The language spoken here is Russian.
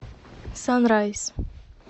санрайз